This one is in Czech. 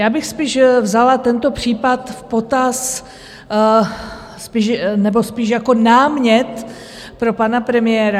Já bych spíš vzala tento případ v potaz nebo spíš jako námět pro pana premiéra.